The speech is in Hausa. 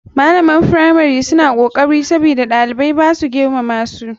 Malaman firamari suna kokari sabida ɗaliban basu girma ba.